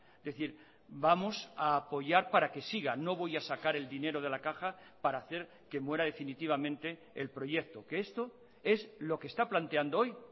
es decir vamos a apoyar para que siga no voy a sacar el dinero de la caja para hacer que muera definitivamente el proyecto que esto es lo que está planteando hoy